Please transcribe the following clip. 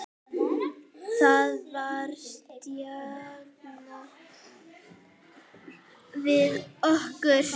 Það var stjanað við okkur.